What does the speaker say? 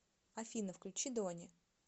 афина включи дони